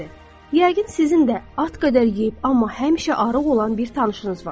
Yəqin sizin də at qədər yeyib, amma həmişə arıq olan bir tanışınız var.